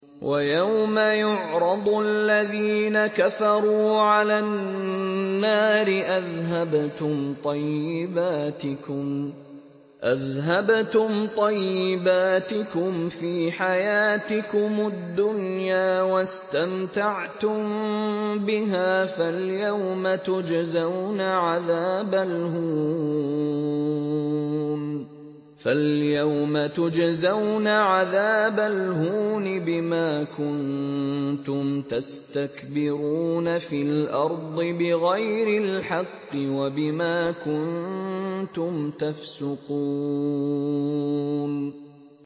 وَيَوْمَ يُعْرَضُ الَّذِينَ كَفَرُوا عَلَى النَّارِ أَذْهَبْتُمْ طَيِّبَاتِكُمْ فِي حَيَاتِكُمُ الدُّنْيَا وَاسْتَمْتَعْتُم بِهَا فَالْيَوْمَ تُجْزَوْنَ عَذَابَ الْهُونِ بِمَا كُنتُمْ تَسْتَكْبِرُونَ فِي الْأَرْضِ بِغَيْرِ الْحَقِّ وَبِمَا كُنتُمْ تَفْسُقُونَ